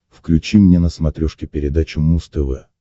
включи мне на смотрешке передачу муз тв